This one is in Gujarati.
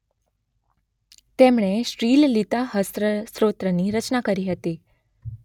તેમણે શ્રીલલિતાસહસ્ત્ર સ્તોત્ર ની રચના કરી હતી